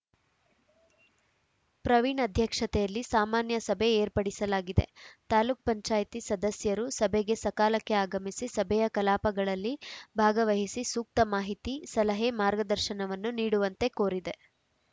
ಪ್ರವೀಣ್‌ ಅಧ್ಯಕ್ಷತೆಯಲ್ಲಿ ಸಾಮಾನ್ಯ ಸಭೆ ಏರ್ಪಡಿಸಲಾಗಿದೆ ತಾಲೂಕ್ ಪಂಚಾಯತಿ ಸದಸ್ಯರು ಸಭೆಗೆ ಸಕಾಲಕ್ಕೆ ಆಗಮಿಸಿ ಸಭೆಯ ಕಲಾಪಗಳಲ್ಲಿ ಭಾಗವಹಿಸಿ ಸೂಕ್ತ ಮಾಹಿತಿ ಸಲಹೆ ಮಾರ್ಗದರ್ಶನವನ್ನು ನೀಡುವಂತೆ ಕೋರಿದೆ